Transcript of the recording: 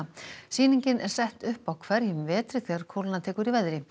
sýningin er sett upp á hverjum vetri þegar kólna tekur í veðri